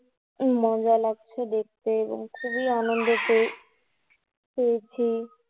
মজা লাগছে দেখতে এবং খুবই আনন্দ করেছি